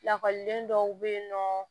Lakɔliden dɔw bɛ yen nɔ